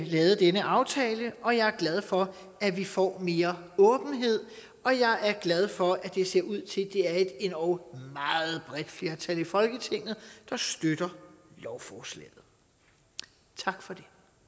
lavet denne aftale og jeg er glad for at vi får mere åbenhed og jeg er glad for at det ser ud til at det er et endog meget bredt flertal i folketinget der støtter lovforslaget tak for